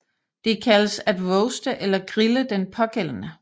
Det kaldes at roaste eller grille den pågældende